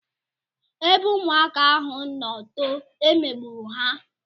Ebe ụmụaka ahụ no too, e megburu ha